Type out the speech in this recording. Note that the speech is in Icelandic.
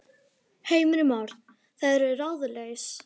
Heimir Már: Eru þau ráðalaus?